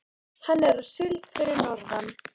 Hann er á síld fyrir norðan.